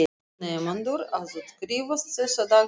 Nemendur að útskrifast þessa dagana ekki satt.